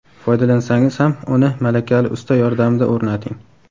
Foydalansangiz ham uni malakali usta yordamida o‘rnating.